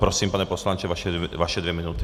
Prosím, pane poslanče, vaše dvě minuty.